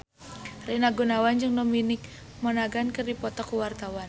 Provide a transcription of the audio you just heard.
Rina Gunawan jeung Dominic Monaghan keur dipoto ku wartawan